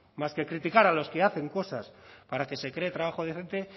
más que criticar a los que hacen cosas para que se cree trabajo decente